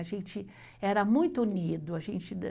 A gente era muito unido, a gente de